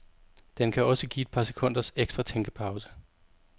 Den kan også give et par sekunders ekstra tænkepause.